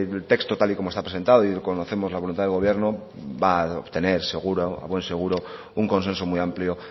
el texto tal y como está presentado y conocemos la voluntad del gobierno va a obtener seguro a buen seguro un consenso muy amplio